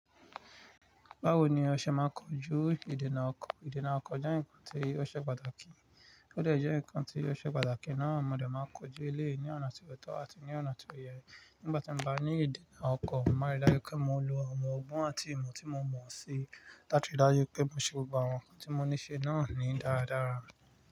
Báwo ni a ṣe máa ń kojú ìdènà ọkọ̀? Ìdènà ọkọ̀ jẹ́ ǹkan tí ó ṣe pàtàkì, ó jẹ́ ǹkan tí ó ṣe pàtàkì náà. Mo de máa ń kojú eléyìí ní ọ̀nà tí kò tọ́ àti ní ọ̀nà tí o yẹ. Nígbà tí mo bá ní ìdènà ọkọ̀, mo máa rí dájú pé mo lo àwọ́n ọgbọ́n àti ìmò tí mo mọ̀ sí. Láti tò dájú pé mo ṣe ọgbọ́n àwọn ǹkan tí mo níí ṣe náà ní dáradára.